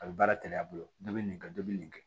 A bɛ baara kɛnɛya bolo dɔ bɛ nin kɛ dɔ bɛ nin kɛ